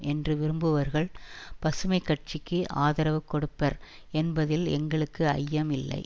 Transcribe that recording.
என்று விரும்புபவர்கள் பசுமை கட்சிக்கு ஆதரவு கொடுப்பர் என்பதில் எங்களுக்கு ஐயம் இல்லை